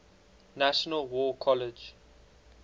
national war college